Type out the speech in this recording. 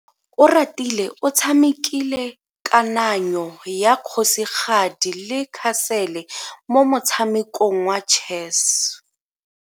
Oratile o tshamekile kananyo ya kgosigadi le khasele mo motshamekong wa chess.